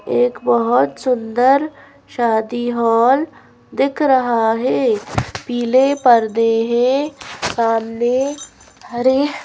एक बहोत सुंदर शादी हॉल दिख रहा है पीले पर्दे हैं सामने हरे--